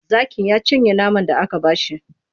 Zakin ya cinye naman da aka ba shi.